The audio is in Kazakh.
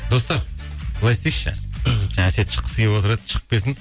достар былай істейікші жаңа әсет шыққысы келіп отыр еді шығып келсін